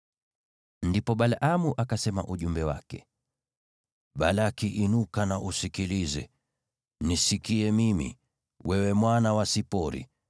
Ndipo Balaamu akasema ujumbe wake: “Balaki, inuka na usikilize, nisikie mimi, wewe mwana wa Sipori.